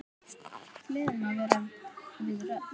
Gleðin má vera við völd.